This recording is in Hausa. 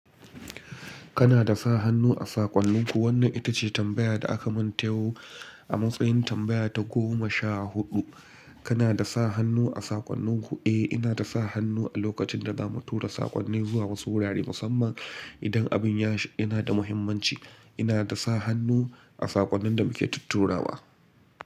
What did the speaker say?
Kana da sa hannu a saƙonninku? Wannan ita ce tambaya da aka mun ta yau a matsayin tambaya ta goma sha huɗu. Kana da sa hannu a saƙonninku? Eh, ina da sa hannu a lokacin da za mu tura saƙonni zuwa wasu wurare musamman idan abin yana da muhimmanci. Ina da sa hannu a saƙonnin da muke tutturawa.